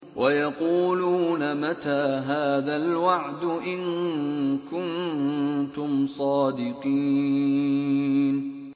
وَيَقُولُونَ مَتَىٰ هَٰذَا الْوَعْدُ إِن كُنتُمْ صَادِقِينَ